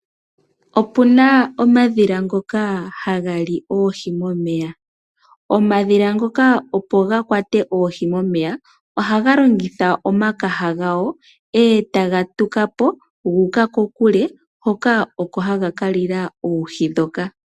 Opuna omadhila ngoka haga li oohi momeya . Omadhila ngoka opo makwate oohi , ohaga lomgitha omakaha gawo eetaga tukapo guuka kokule hoka oko haga kalila oohi ndhoka.